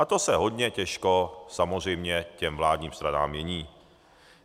A to se hodně těžko samozřejmě těm vládním stranám mění.